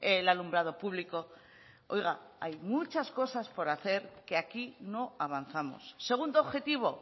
el alumbrado público oiga hay muchas cosas por hacer que aquí no avanzamos segundo objetivo